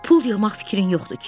Pul yığmaq fikrin yoxdur ki?